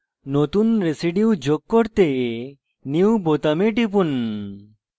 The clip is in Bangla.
নতুন residue যোগ করতে new বোতামে টিপুন